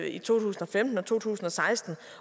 i to tusind og femten og to tusind og seksten